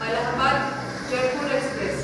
Allahabad Jaipur express